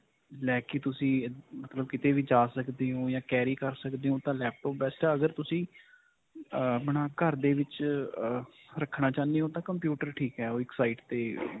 ਲੈ ਕੇ ਤੁਸੀਂ ਕਿਤੇ ਵੀ ਜਾ ਸਕਦੇ ਹੋ ਜਾਂ carry ਕਰ ਸਕਦੇ ਹੋ ਤਾਂ laptop best ਹੈ ਅਗਰ ਤੁਸੀ ਆਪਣਾ ਘਰ ਦੇ ਵਿੱਚ ਅਅ ਰੱਖਣਾ ਚਾਉਣੇ ਹਾਂ computer ਠੀਕ ਹੈ ਉਹ ਇੱਕ side 'ਤੇ.